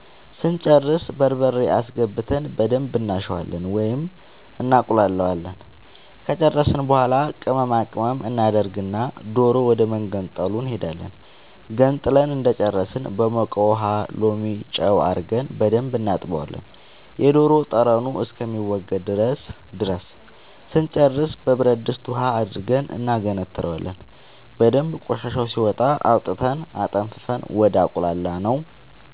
ስንጨርስ በርበሬ አስገብተን በደንብ እናሸዋለን ወይም እናቁላለዋለን ከጨረስን በኃላ ቅመማ ቅመም እናደርግና ዶሮ ወደመገንጠሉ እንሄዳለን ገንጥለን እንደጨረስን በሞቀ ውሃ ሎሚ ጨው አርገን በደንብ እናጥበዋለን የዶሮ ጠረኑ እስከሚወገድ ድረስ ስንጨርስ በብረድስት ውሃ አድርገን እናገነትረዋለን በደንብ ቆሻሻው ሲወጣ አውጥተን አጠንፍፈን ወደ አቁላላነው